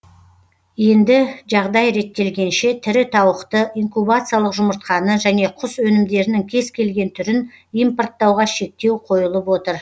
енді жағдай реттелгенше тірі тауықты инкубациялық жұмыртқаны және құс өнімдерінің кез келген түрін импорттауға шектеу қойылып отыр